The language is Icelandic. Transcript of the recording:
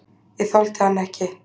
Ég þoldi hann ekki.